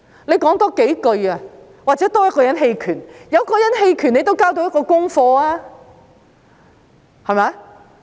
你多說幾句，爭取多一個人棄權，你也能當作下了工夫，對嗎？